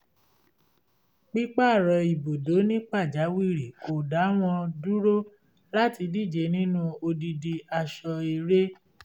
pípààrọ̀ ibùdó ní pàjáwìrì kò dá wọn dúró láti díje nínú odidi aṣọ-eré